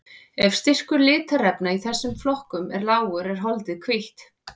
Ef styrkur litarefna í þessum flokkum er lágur er holdið hvítt.